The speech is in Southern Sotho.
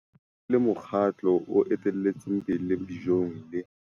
Kananelo e le Mokgatlo o Etelletseng pele Dijong, le.